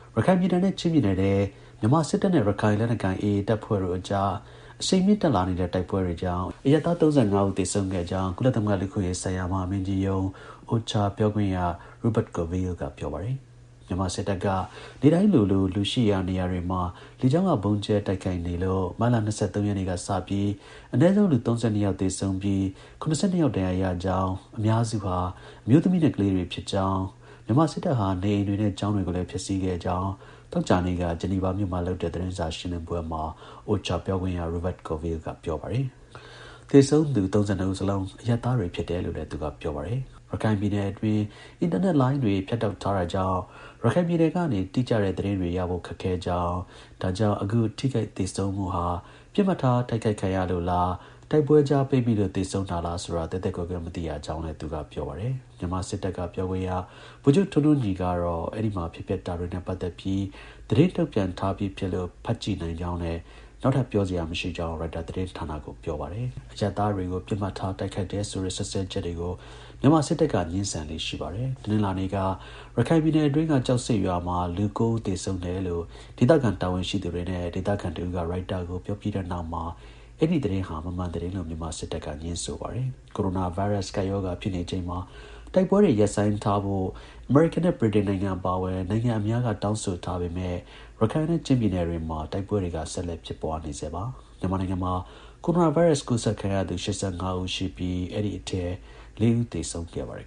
ရခိုင်ပြည်နယ်နဲ့ ချင်းပြည်နယ်ထဲ မြန်မာစစ်တပ်နဲ့ ရခိုင် လက်နက်ကိုင် AA တပ်ဖွဲ့တို့အကြား အရှိန်မြင့်တက်လာနေတဲ့လတ်တလော တိုက်ပွဲတွေကြောင့် အရပ်သား ၃၂ ဦး သေဆုံးခဲ့ကြောင်း ကုလသမဂ္ဂ လူ့အခွင့် အရေးဆိုင်ရာ မဟာမင်းကြီးရုံး (OHCHR) ပြော ခွင့်ရ Rupert Colville က ပြောပါတယ်။ မြန်မာ စစ်တပ်က နေ့တိုင်းလိုလို လူရှိရာ နေရာတွေမှာ လေကြောင်းက ဗုံးကြဲတိုက်ခိုက်နေလို့ မတ်လ ၂၃ ရက်နေ့ကစပြီး အနည်းဆုံး လူ ၃၂ ယောက် သေဆုံးပြီး ၇၂ ယောက် ဒဏ်ရာ ရကြောင်း၊ အများစုဟာ အမျိုးသမီးနဲ့ ကလေးတွေဖြစ်ကြောင်း၊ မြန်မာစစ်တပ်ဟာ နေအိမ်တွေနဲ့ ကျောင်းတွေကိုလည်း ဖျက်ဆီးခဲ့ကြောင်း သောကြာနေ့က ဂျီနီဗာမြို့မှာလုပ်တဲ့ သတင်းစာ ရှင်းလင်းပွဲမှာ OHCHR ပြောခွင့်ရ Rupert Colville က ပြောပါတယ်။ သေဆုံးသူ ၃၂ ဦးစလုံး အရပ်သားတွေ ဖြစ်တယ်လို့လည်း သူက ပြောပါတယ်။ ရခိုင်ပြည်နယ်အတွင်း အင်တာနက်လိုင်းတွေ ဖြတ်တောက်ထားတာကြောင့် ရခိုင်ပြည်နယ်ကနေ တိကျတဲ့ သတင်းတွေ ရဖို့ ခက်ခဲ ကြောင်း၊ ဒါကြောင့် အခု ထိခိုက် သေဆုံးမှုဟာ ပစ်မှတ်ထား တိုက်ခိုက်ခံရလို့လား၊ တိုက်ပွဲကြား ပိတ်မိလို့ သေဆုံးတာလား ဆိုတာ သဲသဲကွဲကွဲ မသိရကြောင်း လည်း သူက ပြောပါတယ်။ မြန်မာစစ်တပ်က ပြောခွင့် ဗိုလ်ချုပ် ထွန်းညီညီကတော့ အဲဒီမှာ ဖြစ်ပျက်နေတာတွေနဲ့ ပတ်သက်ပြီး သတင်းထုတ်ပြန်ထားပြီး ဖြစ်လို့ ဖတ်ကြည့်နိုင်ကြောင်းနဲ့ နောက်ထပ် ပြောစရာ မရှိကြောင်း ရိုက်တာသတင်းဌာနကို ပြောပါတယ်။ အရပ်သားတွေကို ပစ်မှတ်ထား တိုက်ခိုက်တယ်ဆိုတဲ့ စွပ်စွဲချက်တွေကို မြန်မာ စစ်တပ်က ငြင်းဆန်လေ့ရှိပါတယ်။ တနင်္လာနေ့က ရခိုင်ပြည်နယ်အတွင်းက ကျောက်ဆိပ်ရွာမှာ လူ ၉ ဦး သေဆုံးတယ်လို့ ဒေသခံ တာဝန်ရှိသူတွေနဲ့ ဒေသခံ တစ်ဦး က ရိုက်တာကို ပြောပြီးတဲ့နောက်မှာ အဲဒီ သတင်းဟာ မမှန်သတင်းလို့ မြန်မာ စစ်တပ်က ပြောပါတယ်။ ကိုရိုနာ ဗိုင်းရပ်စ် ကပ်ရောဂါ ဖြစ်နေချိန်မှာ တိုက်ပွဲတွေ ရပ်ဆိုင်းထားဖို့ အမေရိကန်နဲ့ ဗြိတိန်နိုင်ငံတွေ အပါအဝင် နိုင်ငံအများက တောင်းဆိုထားပေမဲ့ ရခိုင်နဲ့ ချင်းပြည်နယ်တွေမှာ တိုက်ပွဲတွေက ဆက်လက် ဖြစ်ပွားနေဆဲ ဖြစ်ပါတယ်။ မြန်မာနိုင်ငံထဲ ကိုရိုနာ ဗိုင်းရပ်စ်ကူးစက်ခံရသူ ၈၅ ဦး ရှိပြီး အဲဒီအထဲ ၄ ဦး သေဆုံးခဲ့ပါတယ်